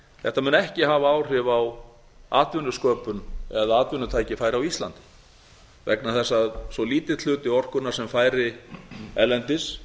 þetta mun ekki hafa áhrif á atvinnusköpun eða atvinnutækifæri á íslandi vegna þess að svo lítill hluti orkunnar sem færi erlendis